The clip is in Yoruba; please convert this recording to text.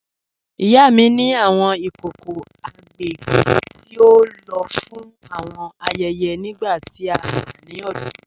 Ìyá mi ni awọn ikòkò agbègbè tí o ló fún awọn ayẹyẹ nígbà tí a wà ni ọdọ.